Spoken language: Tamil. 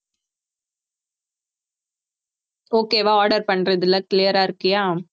okay வா order பண்றதுல clear ஆ இருக்கியா